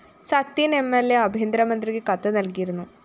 സത്യന്‍ MLA ആഭ്യന്തര മന്ത്രിക്ക് കത്ത് നല്‍കിയിരുന്നു